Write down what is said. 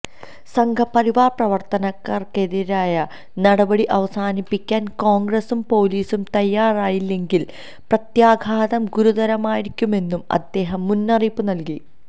സംഘപരിവാര് പ്രവര്ത്തകര്ക്കെതിരായ നടപടി അവസാനിപ്പിക്കാന് കോണ്ഗ്രസും പോലീസും തയ്യാറായില്ലെങ്കില് പ്രത്യാഘാതം ഗുരുതരമായിരിക്കുമെന്നും അദ്ദേഹം മുന്നറിയിപ്പ് നല്കി